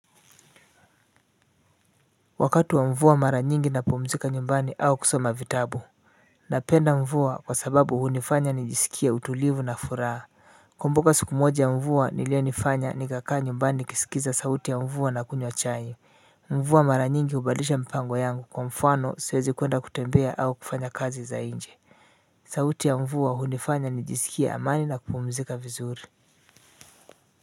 Wakati wa mvua mara nyingi ninapumzika nyumbani au kusoma vitabu. Ninapenda mvua kwa sababu hunifanya nijisikie utulivu na furaha. Ninakumbuka siku moja ya mvua iliyonifanya nikakaa nyumbani nikisikiliza sauti ya mvua na kunywa chai. Mvua mara nyingi hubadilisha mpango yangu kwa mfano siwezi kwenda kutembea au kufanya kazi za nje. Sauti ya mvua hunifanya nijisikie amani na kupumzika vizuri. Kwa hivyo.